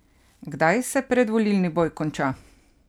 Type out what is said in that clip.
Kdaj se predvolilni boj konča?